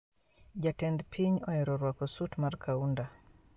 Jatend piny oero rwako sut mar kaunda